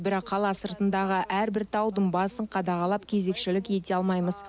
бірақ қала сыртындағы әрбір таудың басын қадағалап кезекшілік ете алмаймыз